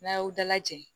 N'a y'aw dalajɛ